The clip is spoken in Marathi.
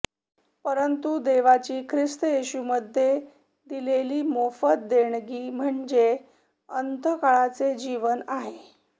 परंतु देवाची ख्रिस्त येशूमध्ये दिलेली मोफत देणगी म्हणजे अनंतकाळचे जीवन आहे